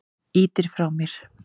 Ýtir mér frá þér.